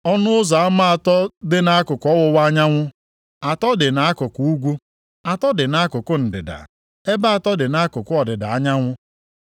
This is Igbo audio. Ọnụ ụzọ ama atọ dị nʼakụkụ ọwụwa anyanwụ, atọ dị nʼakụkụ ugwu, atọ dị nʼakụkụ ndịda, ebe atọ dị nʼakụkụ ọdịda anyanwụ.